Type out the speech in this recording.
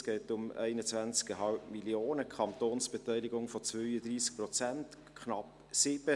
Es geht um 21,5 Mio. Franken, mit einer Kantonsbeteiligung von 32 Prozent, knapp 7 Mio. Franken.